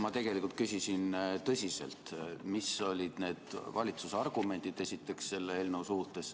Ma tegelikult küsisin tõsiselt, mis olid esiteks need valitsuse argumendid selle eelnõu kohta.